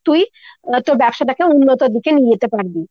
তুই তোর ব্যবসাটাকে উন্নত র দিকে নিয়ে যেতে পারবি।